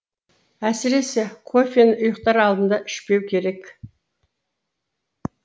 әсіресе кофені ұйықтар алдында ішпеу керек